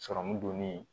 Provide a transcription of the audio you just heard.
Sɔrɔmu donnen